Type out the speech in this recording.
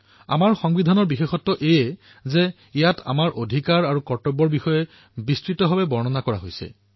আমাৰ সংবিধানৰ এক উল্লেখযোগ্য কথা এয়াই যে অধিকাৰ আৰু কৰ্তব্য অৰ্থাৎ ইয়াৰ বিষয়ে বিস্তাৰিতভাৱে বৰ্ণনা কৰা হৈছে